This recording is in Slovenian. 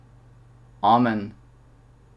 Amen.